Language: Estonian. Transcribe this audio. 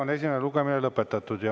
Esimene lugemine on lõpetatud.